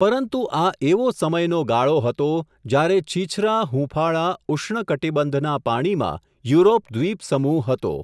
પરંતુ આ એવો સમયનો ગાળો હતો, જ્યારે છીછરા હૂંફાળા, ઉષ્ણકટિબંધના પાણીમાં યુરોપ દ્વિપસમૂહ હતો.